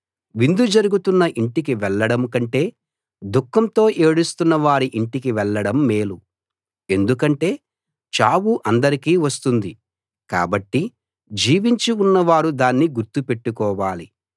విందు జరుగుతున్న ఇంటికి వెళ్ళడం కంటే దుఃఖంతో ఏడుస్తున్న వారి ఇంటికి వెళ్ళడం మేలు ఎందుకంటే చావు అందరికీ వస్తుంది కాబట్టి జీవించి ఉన్నవారు దాన్ని గుర్తు పెట్టుకోవాలి